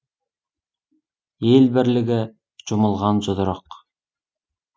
ел бірлігі жұмылған жұдырық